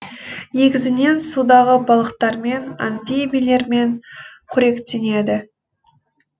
негізінен судағы балықтармен амфибилермен қоректенеді